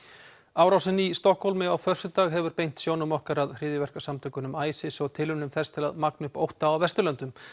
árásin í Stokkhólmi á föstudag hefur beint sjónum okkar að hryðjuverkasamtökunum ISIS og tilraunum þess til að magna upp ótta á Vesturlöndum